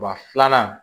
Ba filanan